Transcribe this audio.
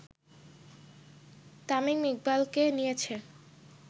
তামিম ইকবালকে নিয়েছে